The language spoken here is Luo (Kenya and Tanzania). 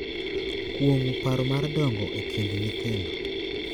Kuong’o paro mar dongo e kind nyithindo.